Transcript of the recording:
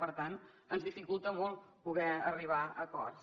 per tant ens dificulta molt poder arribar a acords